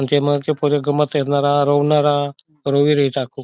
पूरी गम्मत रोवनारा रावी रई चाकू --